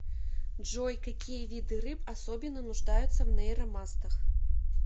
джой какие виды рыб особенно нуждаются в нейромастах